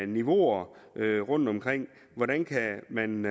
niveauer rundtomkring hvordan kan man